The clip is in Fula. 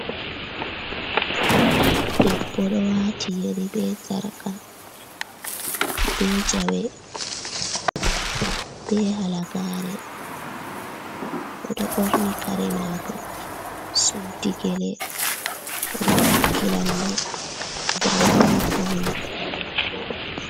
Debbo ɗo waati Yeri bee Sarka, bee Jawe, bee Halagare, o ɗo ɓorni kare maako suddi Gele, o ɗo takki lalle, daliila pawne.